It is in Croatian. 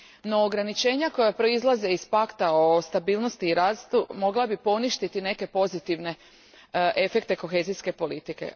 No organičenja koja proizlaze iz Pakta o stabilnosti i rastu mogla bi poništiti neke pozitivne efekte kohezijske politike.